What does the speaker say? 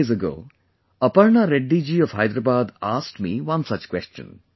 A few days ago Aparna Reddy ji of Hyderabad asked me one such question